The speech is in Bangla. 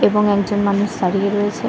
এবং একজন মানুষ দাঁড়িয়ে রয়েছে।